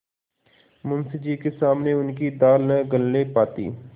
मुंशी जी के सामने उनकी दाल न गलने पाती